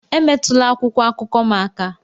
Emetụla akwụkwọ akụkọ m aka!